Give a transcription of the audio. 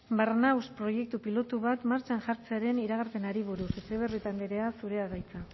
barnahus proiektu pilotu bat martxan jartzearen iragarpenari buruz etxebarrieta andrea zurea da hitza